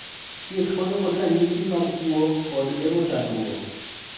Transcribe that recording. Thieth konyo kod ranyisi mag tuwo kod geng'o chandruok.